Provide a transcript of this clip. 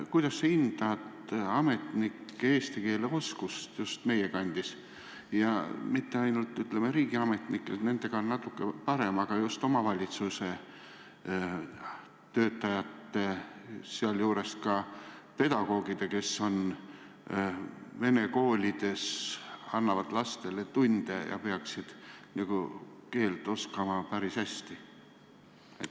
Kuidas sa hindad ametnike eesti keele oskust just meie kandis, ja mitte ainult riigiametnikel, kelle keeleoskus on natuke parem, vaid just omavalitsuse töötajatel ja ka pedagoogidel, kes annavad vene koolides lastele tunde ja peaksid eesti keelt oskama päris hästi?